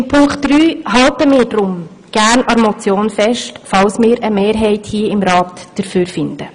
In Punkt drei halten wir deshalb gern an der Motion fest, falls wir dafür hier im Rat eine Mehrheit finden.